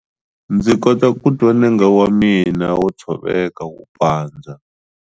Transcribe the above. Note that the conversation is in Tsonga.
Ndzi kota ku twa nenge wa mina wo tshoveka wu pandza.